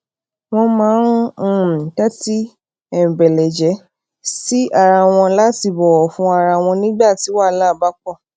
wón máa ń um tétí um beleje si ara won lati bòwò fún ara wọn nígbà tí wàhálà bá po